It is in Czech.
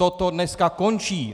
Toto dneska končí.